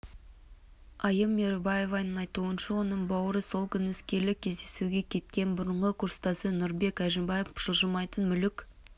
айым мейірбаеваның айтуынша оның бауыры сол күні іскерлік кездесуге кеткен бұрынғы курстасы нұрбек әжімбай жылжымайтын мүлік